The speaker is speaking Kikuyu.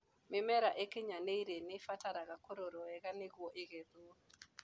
Mĩmera ĩkinyanĩire nĩibataraga kũrorwo wega nĩguo ĩgetwo.